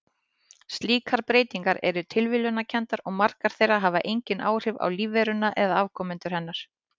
Slíkar breytingar eru tilviljunarkenndar og margar þeirra hafa engin áhrif á lífveruna eða afkomendur hennar.